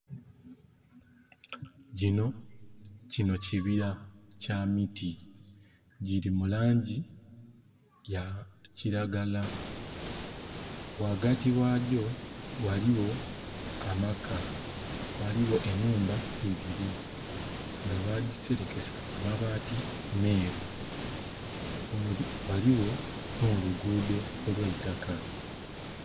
Kinho kibira kya miti giri mulangi ya kiragala ghagati ghagyo ghaligho amaka, ghaliwo enhumba iibiri nga badhiserekesa amabati meru ghaligho nho luguudo olweitaka.